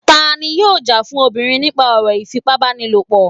tani yóò já fún obirin nipa ọro ifípábánílọpọ?